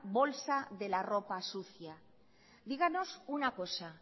bolsa de la ropa sucia díganos una cosa